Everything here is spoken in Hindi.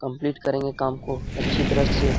कम्पलीट करेंगे काम को अच्छी तरह से।